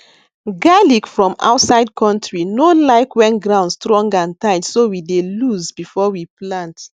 garlic from outside country no like when ground strong and tight so we we dey loose before we plant